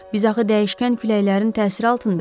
Biz axı dəyişkən küləklərin təsiri altındayıq.